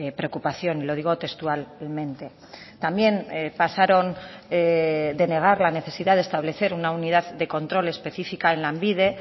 preocupación y lo digo textualmente también pasaron de negar la necesidad de establecer una unidad de control específica en lanbide